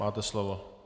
Máte slovo.